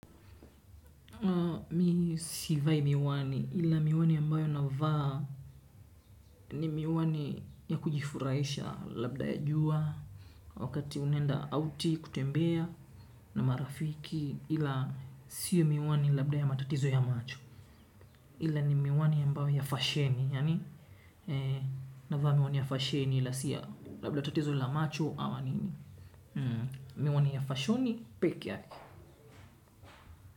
Mi si vai miwani ila miwani ambayo na vaa ni miwani ya kujifurahisha labda ya jua. Wakati unaenda auti kutembea na marafiki ila siyo miwani labda ya matatizo ya macho. Ila ni miwani ambayo ya fasheni yani na vaa miwani ya fasheni ila siya labda ya tatizo ya macho ama nini. Miwani ya fashoni peke yake.